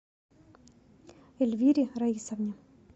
эльвире раисовне